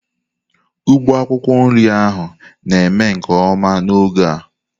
Ugbo akwukwo nri ahu na-eme nke oma n'oge a.